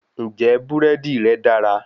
Ǹjẹ́ búrẹ́dì rẹ́ dára?